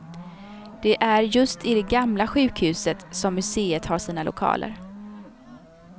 Det är just i det gamla sjukhuset, som museet har sina lokaler.